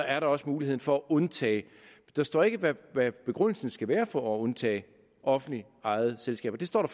er der også mulighed for at undtage der står ikke hvad begrundelsen skal være for at undtage offentligt ejede selskaber det står